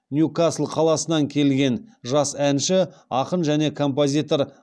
ньюкасл қаласынан келген жас әнші ақын және композитор